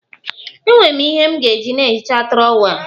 Enwere m ihe m ga-eji na-ehicha trọwel